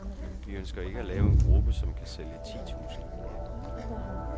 Vi ønsker ikke at lave en gruppe, som kan sælge ti tusind her.